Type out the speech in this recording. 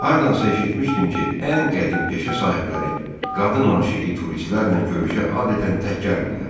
Hardansa eşitmişdim ki, ən qədim peşə sahibləri qadın aşiqi turistlərlə görüşə adətən tək gəlmirlər.